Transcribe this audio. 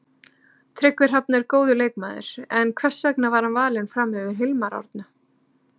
Tryggvi Hrafn er góður leikmaður, en hvers vegna er hann valinn fram yfir Hilmar Árna?